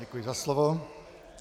Děkuji za slovo.